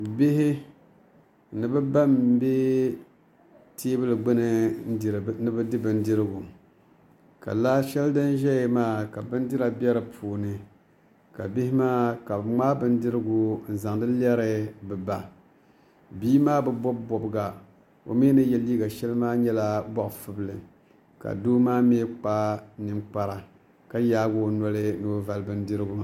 Bihi ni bi ba n bɛ teebuli gbuni ni bi di bindirigu ka laa shɛli din ʒɛya maa ka bindira bɛ di puuni ka bihi maa ka bi ŋmaai bindirigu n zaŋdi lɛri bi ba bia maa bi bob bobga o mii ni yɛ liiga shɛli maa nyɛla zaɣ fubili ka doo maa mii kpa ninkpara ka yaagi o noli ni o vali bindirigu